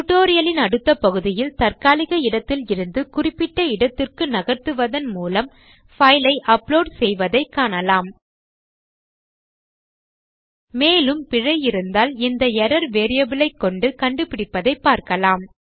tutorial இன் அடுத்த பகுதியில் தற்காலிக இடத்தில் இருந்து குறிப்பிட்ட இடத்துக்கு நகர்த்துவதன் மூலம் பைல் ஐ அப்லோட் செய்வதைக் காணலாம் மேலும் பிழை இருந்தால் இந்த எர்ரர் வேரியபிள் ஐக்கொண்டு கண்டுபிடிப்பதை பார்க்கலாம்